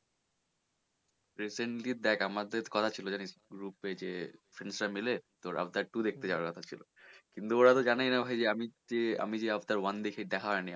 recently দেখ আমাদের কথা ছিল জানিস group এ যে friends রা মিলে তো Avatar two দেখতে যাওয়ার কথা ছিল কিন্তু ওরা তো জানে যে আমি যে আমি যে Avatar one দেখি, দেখা হয়নি আমার।